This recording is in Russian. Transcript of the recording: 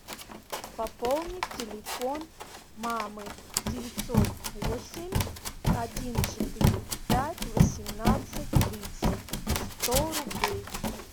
пополни телефон мамы девятьсот восемь один четыре пять восемнадцать тридцать сто рублей